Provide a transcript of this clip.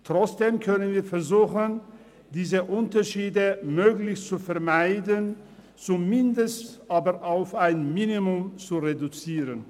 Trotzdem können wir versuchen, diese Unterschiede möglichst zu vermeiden, sie zumindest aber auf ein Minimum zu reduzieren.